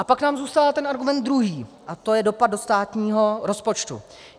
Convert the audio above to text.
A pak nám zůstává ten argument druhý, a to je dopad do státního rozpočtu.